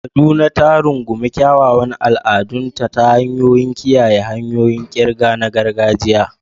Kaduna ta rungumi kyawawan al'adunta ta hanyar kiyaye hanyoyin ƙirga na gargajiya.